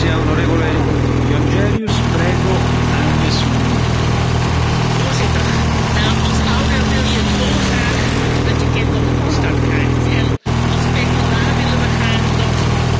Voorzitter, als ouder wil je dolgraag dat je kind een goede start krijgt. Als PvdA willen we graag dat alle ouders verlof kunnen opnemen om hun kind te zien opgroeien.